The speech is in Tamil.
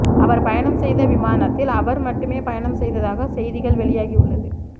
அவர் பயணம் செய்த விமானத்தில் அவர் மட்டுமே பயணம் செய்ததாக செய்திகள் வெளியாகி உள்ளது